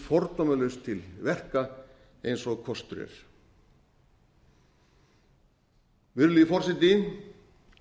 fordómalaust til verka eins og kostur er virðulegi forseti